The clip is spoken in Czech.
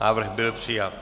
Návrh byl přijat.